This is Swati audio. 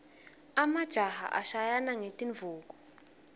emajaha ashayana ngetinduku